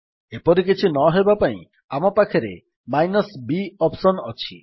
ଏପରି କିଛି ନହେବା ପାଇଁ ଆମ ପାଖରେ -b ଅପ୍ସନ୍ ଅଛି